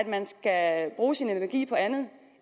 man skal bruge sin energi på andet